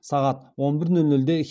сағат он бір нөл нөлде